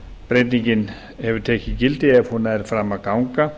breytingin hefur tekið gildi ef hún nær fram að ganga